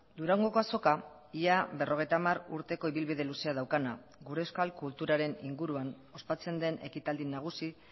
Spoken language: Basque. durangoko azoka ia berrogeita hamar urteko ibilbide luzea daukana gure euskal kulturaren inguruan ospatzen den ekitaldi nagusi